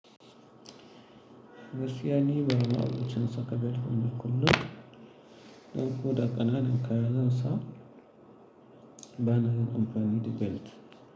Gaskiya ni, ba ma'abucin saka belt bane kullum. Dan koda ƙananan kaya zansa, bana yin amfani da belt.